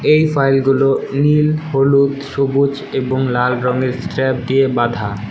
এই ফাইলগুলো নীল হলুদ সবুজ এবং লাল রঙের স্ট্র্যাপ দিয়ে বাঁধা।